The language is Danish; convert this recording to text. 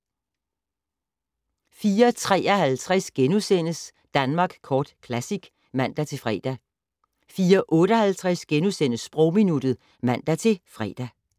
04:53: Danmark Kort Classic *(man-fre) 04:58: Sprogminuttet *(man-fre)